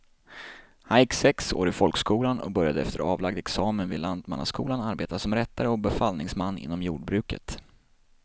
Han gick sex år i folkskolan och började efter avlagd examen vid lantmannaskolan arbeta som rättare och befallningsman inom jordbruket.